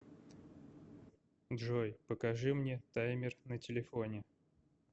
джой покажи мне таймер на телефоне